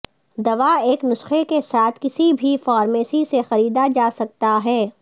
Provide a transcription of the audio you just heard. دوا ایک نسخے کے ساتھ کسی بھی فارمیسی سے خریدا جا سکتا ہے